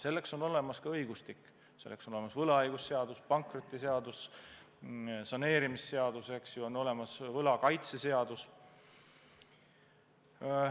Selleks on olemas õigustik: võlaõigusseadus, pankrotiseadus, saneerimisseadus, võlakaitse seadus.